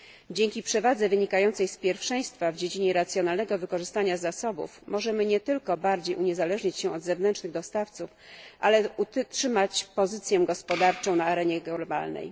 Dzięki przewadze wynikającej z pierwszeństwa w dziedzinie racjonalnego wykorzystania zasobów możemy nie tylko bardziej uniezależnić się od zewnętrznych dostawców, ale utrzymać pozycję gospodarczą na arenie globalnej.